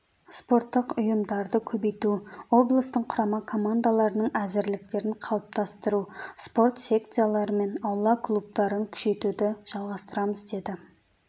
спорттық ұйымдардыкөбейту облыстың құрама командаларының әзірліктерін қалыптастыру спорт секциялары мен аула клубтарын күшейтуді жалғастырамыз деді